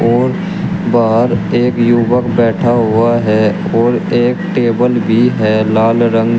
और बाहर एक युवक बैठा हुआ है और एक टेबल भी है लाल रंग--